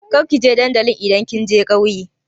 Kar ki je dandali idan kin je ƙauye!